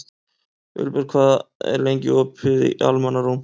Vilberg, hvað er lengi opið í Almannaróm?